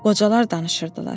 Qocalar danışırdılar.